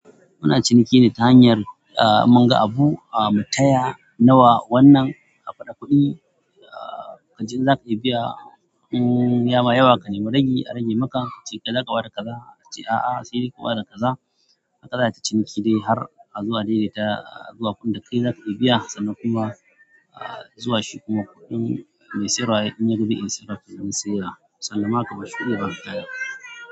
Muna ciniki ne ta hanyar ah mun ga abu ah mu taya nawa wannan, haɓaɗa kuɗi ah kace in zaka iya biya um yama, yawa ka nemi rage a rage maka kace kai zaka ba da kaza kace a'a sai dai kaba da kaza. Haka za'a ta ciniki ne har zuwa dai dai ta zuwa kunne da kai zaka iya biya sannan kuma ah zuwa shi kuma kuɗin mai siyarwa in yaga zai iya siyarwa saye wa sannan ma kaɓa shuɗi yayi banki yayi.